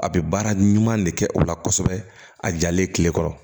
A bɛ baara ɲuman de kɛ o la kosɛbɛ a jalen tilekɔrɔ